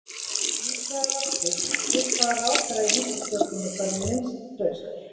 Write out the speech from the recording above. Hins vegar var spurt: Til hvaða ráðherra í ríkisstjórninni berðu minnst traust?